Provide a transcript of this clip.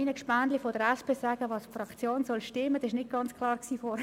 Ich muss nur gerade meinen Kolleginnen und Kollegen von der SP sagen: